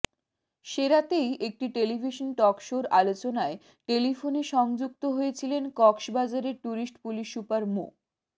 সে রাতেই একটি টেলিভিশন টকশোর আলোচনায় টেলিফোনে সংযুক্ত হয়েছিলেন কক্সবাজারের ট্যুরিস্ট পুলিশ সুপার মো